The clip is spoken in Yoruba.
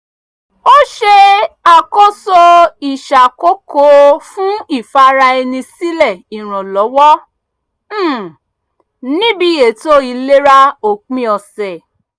ó ṣe àkóso ìṣàkòókò fún ìfara ẹni sílẹ̀ ìrànlọ́wọ́ um níbi ètò ìlera òpin ọ̀sẹ̀